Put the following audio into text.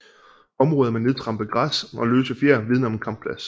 Områder med nedtrampet græs og løse fjer vidner om en kampplads